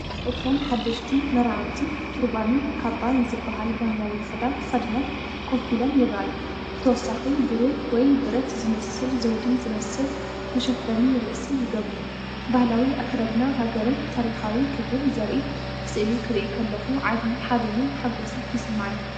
እቶም ሓደስቲ መርዓውቲ ቱርባንን ካባን ዝበሃል ባህላዊ ክዳን ተኸዲኖም ኮፍ ኢሎም ይረኣዩ። ብተወሳኺ ብሩር ወይ ብረት ዝመስል ዘውዲ ዝመስል መሸፈኒ ርእሲ ይገብሩ። ባህላዊ ኣከዳድና ሃገርን ታሪኻዊ ክብርን ዘርኢ ስእሊ ክርኢ ከለኹ ዓቢ ሓበንን ሓጎስን ይስምዓኒ።